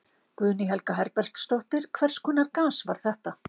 Guðný Helga Herbertsdóttir: Hvers konar gas var þetta?